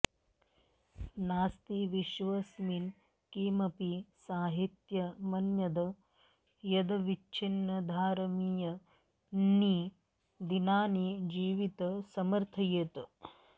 नास्ति विश्वस्मिन् किमपि साहित्यमन्यद् यदविच्छिन्नधारमियन्ति दिनानि जीवित समर्थयेत